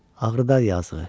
Ağrıdar yazığı.